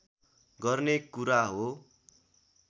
गर्ने कुरा हो